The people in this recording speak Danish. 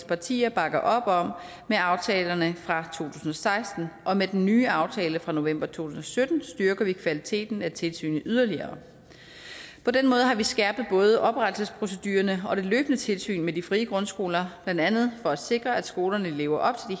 partier bakker op om med aftalerne fra to tusind seksten og med den nye aftale fra november to tusind og sytten styrker vi kvaliteten af tilsynet yderligere på den måde har vi skærpet både oprettelsesprocedurerne og det løbende tilsyn med de frie grundskoler blandt andet for at sikre at skolerne lever op til